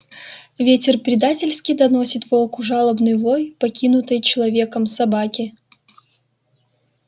ветер предательски доносит волку жалобный вой покинутой человеком собаки